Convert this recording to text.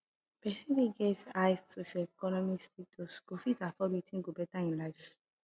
persin wey get high socioeconomic status go fit afford wetin go better im life